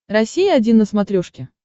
россия один на смотрешке